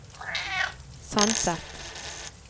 Sandset